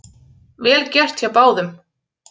Vel gert hjá báðum